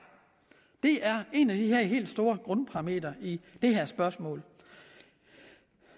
det er en af de her helt store grundparametre i det her spørgsmål